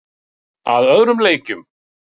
Að öðrum leikjum.